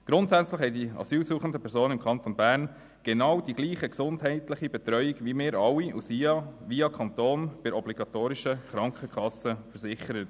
Grundsätzlich haben die asylsuchenden Personen im Kanton Bern die genau gleiche gesundheitliche Betreuung wie wir alle und sind via Kanton obligatorisch bei einer Krankenkasse versichert.